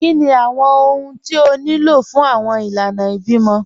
Kíni awọn ọhun tí ó ní lọ fun awọn ilànà ìbímọ?